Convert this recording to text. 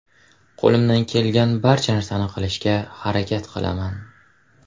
Qo‘limdan kelgan barcha narsani qilishga harakat qilaman.